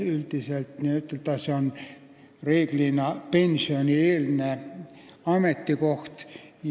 Üldiselt on see pensionieelne ametikoht.